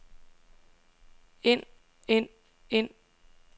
ind ind ind